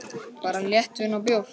Bara léttvín og bjór.